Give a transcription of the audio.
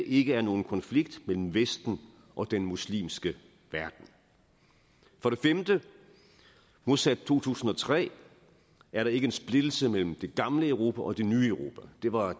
ikke er nogen konflikt mellem vesten og den muslimske verden for det femte modsat to tusind og tre er der ikke en splittelse mellem det gamle europa og det nye europa det var